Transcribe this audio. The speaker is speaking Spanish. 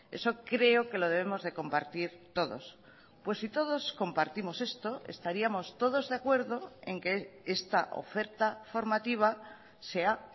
eso creo que lo debemos de compartir todos pues si todos compartimos esto estaríamos todos de acuerdo en que esta oferta formativa sea